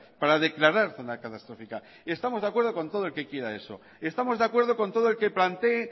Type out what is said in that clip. para declarar zona catastrófica y estamos de acuerdo con todo el que quiera eso estamos de acuerdo con todo el que plantee